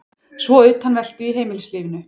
Svo utanveltu í heimilislífinu.